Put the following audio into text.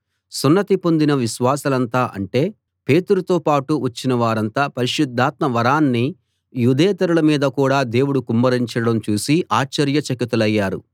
సున్నతి పొందిన విశ్వాసులంతా అంటే పేతురుతో పాటు వచ్చినవారంతా పరిశుద్ధాత్మ వరాన్ని యూదేతరుల మీద కూడా దేవుడు కుమ్మరించడం చూసి ఆశ్చర్యచకితులయ్యారు